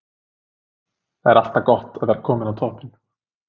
Það er alltaf gott að vera kominn á toppinn.